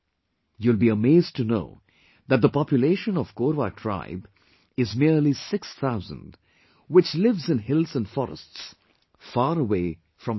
You will be amazed to know that the population of Korwa tribe is merely 6,000, which lives in hills and forests far away from cities